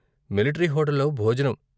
Military హోటల్లో భోజనం.